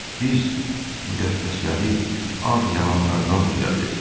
Biz müqəddəsləri ağ yalanlardan düzəldirik.